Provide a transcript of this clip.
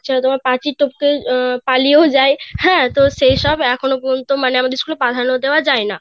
তোমার পাচিল টপকিয়ে পালিয়ে যায় হ্যাঁ তো সেই সব এখনো পর্যন্ত মানে আমাদের স্কুলে